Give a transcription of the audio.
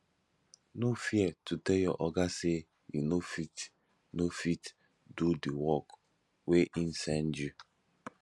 no fear to tell your oga sey you no fit no fit do di work wey im send you